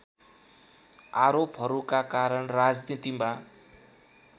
आरोपहरूका कारण राजनीतिमा